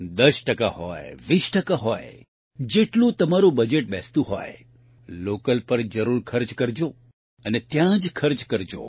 ૧૦ ટકા હોય ૨૦ ટકા હોય જેટલું તમારૂં બજેટ બેસતું હોય લોકલ પર જરૂર ખર્ચ કરજો અને ત્યાંજ ખર્ચ કરજો